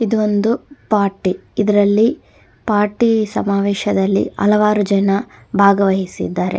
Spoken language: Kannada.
ಇದೊಂದು ಪಾರ್ಟಿ ಇದರಲ್ಲಿ ಪಾರ್ಟಿ ಸಮಾವೇಶದಲ್ಲಿ ಹಲವಾರು ಜನ ಭಾಗವಹಿಸಿದ್ದಾರೆ.